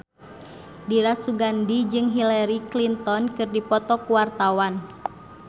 Dira Sugandi jeung Hillary Clinton keur dipoto ku wartawan